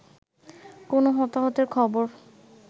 কোন হতাহতের খবর